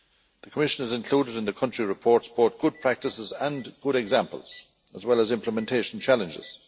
The Commission has included in the country reports both good practices and good examples, as well as implementation challenges.